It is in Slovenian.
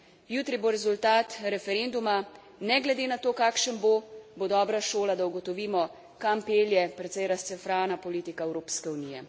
Jutri bo rezultat referenduma, ne glede na to, kakšen bo, bo dobra šola, da ugotovimo, kam pelje precej razcefrana politika Evropske unije.